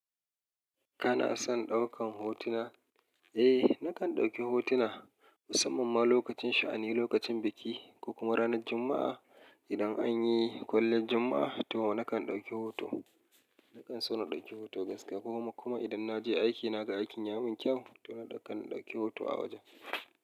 Kana son ɗaukan hotuna? Eh nakan dauki hotuna musamman ma lokacin sha'ani, lokacin biki ko kuma ranar Juma'a idan anyi kwaliyan Juma'a to nakan dauki hoto. Nakan so na dauki hoto gaskiya kuma idan na je aiki na ga aikin ya mun kyau to nakan dauki hoto a wajen.